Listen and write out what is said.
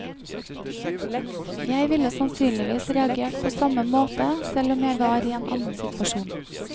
Jeg ville sannsynligvis reagert på samme måte selv om jeg var i en annen situasjon.